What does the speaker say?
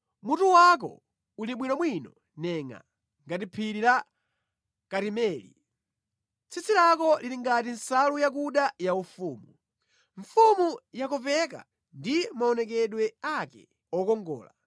Mutu wako uli bwinobwino nengʼaa ngati phiri la Karimeli. Tsitsi lako lili ngati nsalu yakuda yaufumu; mfumu yakopeka ndi maonekedwe ake okongola.